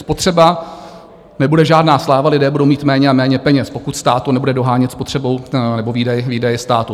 Spotřeba nebude žádná sláva, lidé budou mít méně a méně peněz, pokud stát to nebude dohánět spotřebou nebo výdaji státu.